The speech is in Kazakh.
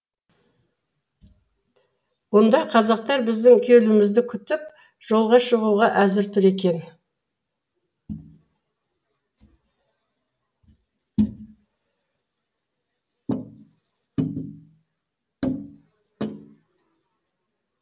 онда казактар біздің келуімізді күтіп жолға шығуға әзір тұр екен